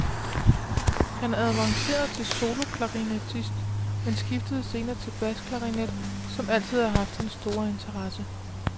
Han avancerede til soloklarinettist, men skiftede senere til basklarinet, som altid har haft hans store interesse.